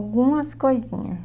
Algumas coisinha.